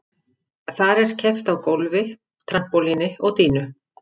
Þar er keppt á gólfi, trampólíni og dýnu.